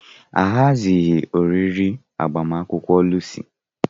Ahazighị oriri agbamakwụkwọ Lucy.